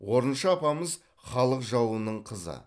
орынша апамыз халық жауының қызы